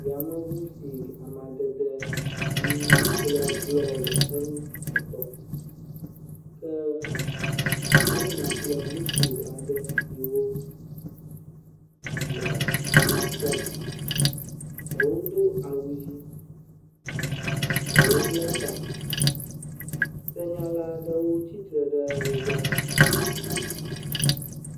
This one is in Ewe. Yameŋu si amadede ʋi kple blɔ le eŋu etɔ ke nyɔnu kple ŋutsu aɖe siwo le aŋe fɔm. Ɖewo do awu ʋi, ɖewo ble ta. Senyala aɖewo tsitre ɖe wo gbɔ.